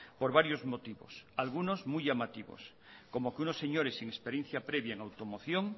por varios motivos algunos muy llamativos como que unos señores sin experiencia previa en automoción